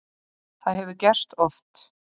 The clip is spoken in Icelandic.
Það hefur gerst oft.